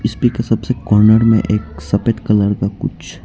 सबसे कॉर्नर में एक सफेद कलर का कुछ --